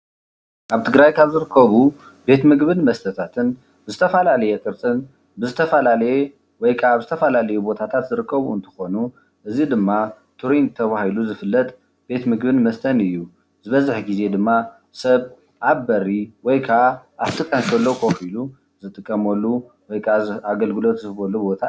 ኣብ ትግራይ ካብ ዝርከቡ ቤት ምግብን መስተታትን ብዝተፈላለየ ቅርፅን ብዝተፈላለየ ወይ ካብ ዝተፈላለዩ ቦታታት ዝርከቡ እንትኾኑ እዚ ድማ ቱሪንግ ተባሂሉ ዝፍለጥ ቤት ምግብን መስተን እዩ፡፡ ዝበዝሕ ግዜ ድማ ሰብ ኣብ በሪ ወይ ከዓ ኣብቲ ካንሸሎ ኮፍ ኢሉ ዝጥቀመሉ ወይ ከዓ ኣገልግሎት ዝህበሉ ቦታ እዩ፡፡